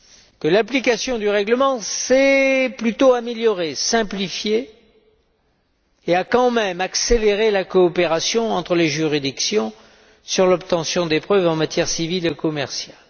Que l'application du règlement s'est plutôt améliorée, a été simplifiée et a quand même accéléré la coopération entre les juridictions sur l'obtention des preuves en matière civile et commerciale.